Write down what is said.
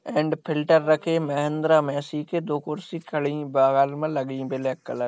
and filter रखे है यहाँ मे अंदर मे दो कुर्सी खड़ी बगल में लगी है ब्लेक कलर --